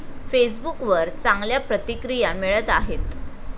फेसबुकवर चांगल्या प्रतिक्रिया मिळत आहेत.